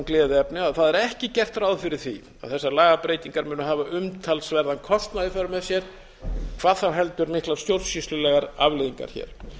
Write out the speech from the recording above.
gleðiefni að það er ekki gert ráð fyrir því að þessar lagabreytingar muni hafa umtalsverðan kostnað í för með sér hvað þá heldur miklar stjórnsýslulegar afleiðingar hér